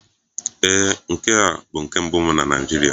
Ee, nke a bụ nke mbụ m na Naịjirịa.